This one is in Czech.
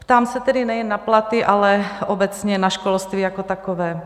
Ptám se tedy nejen na platy, ale obecně na školství jako takové.